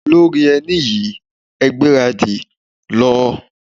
Lóri ẹní yín, ẹ gbára dì, lọ.